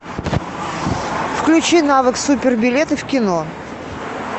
включи навык супер билеты в кино